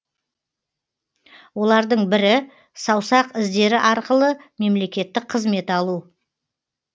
олардың бірі саусақ іздері арқылы мемлекеттік қызмет алу